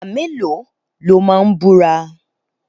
Ìgbà mélòó lo máa búra?